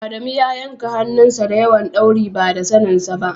Adamu ya yanka hannun sa da wayan dauri ba da sanen sa.